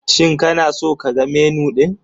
Shin kana so ka ga Menu ɗin?